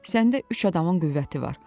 Səndə üç adamın qüvvəti var.